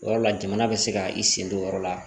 Yɔrɔ la jamana bɛ se ka i sen don o yɔrɔ la